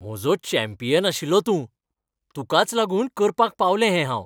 म्हजो चॅम्पियन आशिल्लो तूं! तुकाच लागून करपाक पावलें हें हांव.